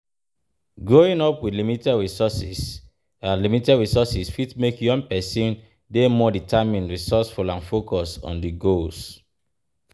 Growing up with limited resources limited resources fi make young pesin dey more determined, resoureful and focused on di goals.